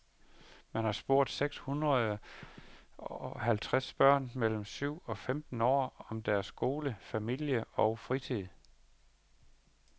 Man har spurgt seks hunderede halvtreds børn mellem syv og femten år om deres skole, familie og fritid.